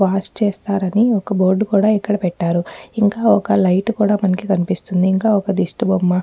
Wash చేస్తారని ఒక్క board కూడా ఇక్కడ పెట్టారుఇంకా ఒక్క లైట్ కూడా మనకి కనిపిస్తుందిఇంకా ఒక్క దిష్టి బొమ్మ.